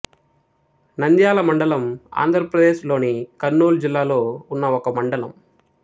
నంద్యాల మండలం ఆంధ్ర ప్రదేశ్ లోని కర్నూలు జిల్లాలో ఉన్న ఒక మండలం